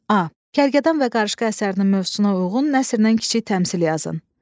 A. Kərkədan və Qarışqa əsərinin mövzusuna uyğun nəsrdən kiçik təmsil yazın.